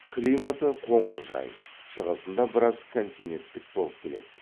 климаты қоңыржай шығысында біраз континеттік болып келеді